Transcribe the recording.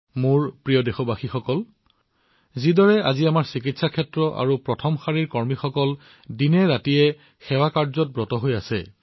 মোৰ মৰমৰ দেশবাসীসকল যিদৰে আজি আমাৰ চিকিৎসা ক্ষেত্ৰৰ লোকসকলে ফ্ৰণ্টলাইন কৰ্মীসকলে অহৰ্নিশে সেৱাত জড়িত হৈ আছে